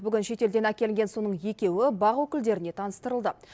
бүгін шетелден әкелінген соның екеуі бақ өкілдеріне таныстырылды